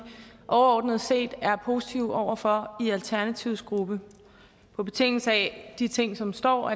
overordnet set er positive over for i alternativets gruppe på betingelse af de ting som står